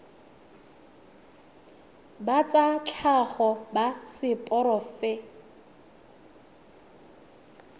ba tsa tlhago ba seporofe